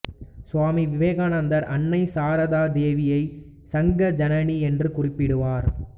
சுவாமி விவேகானந்தர் அன்னை சாரதா தேவியை சங்க ஜனனி என்று குறிப்பிடுவார்